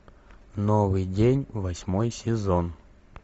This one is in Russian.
новый день восьмой сезон